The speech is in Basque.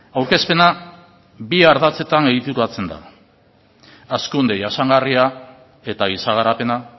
aurkezpena bi ardatzetan egituratzen da hazkunde jasangarria eta giza garapena